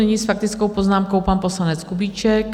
Nyní s faktickou poznámkou pan poslanec Kubíček.